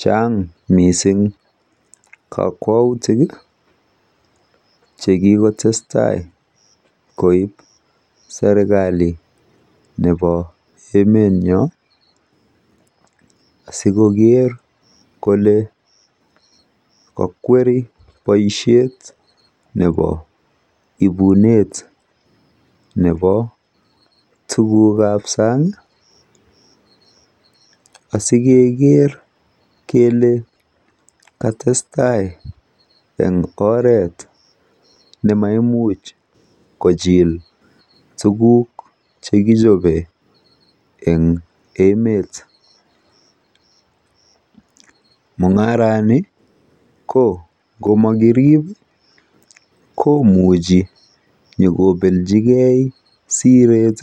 Chan'g mising kokwautik che kikotestai koip serkali nebo emenyo sikoker kole kakweri boishet nebo ipunet nebo tukuk ab san'g. Asikeker kele katestai eng oret nemaimuch kochiil tukuk chekichobei eng emet. Mung'arani ko ng'omakirip komuchi pikobelchigei siret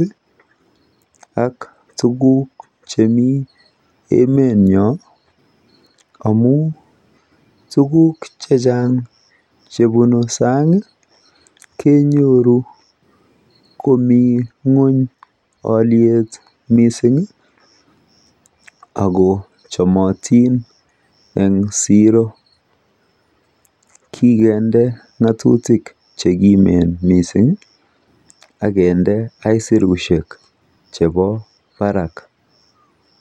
ak tukuk chemi emetnyu amun tukuk checna'g chebunu san'g kenyoru komi ng'wony oliet mising ako chomotin eng siro. Kikende ng'atutik chekimen mising ak kende asurushek chebo barak.